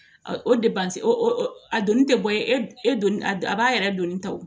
O o a donni tɛ bɔ ye e don a b'a yɛrɛ donni ta wo